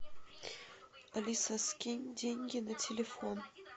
алиса скинь деньги на телефон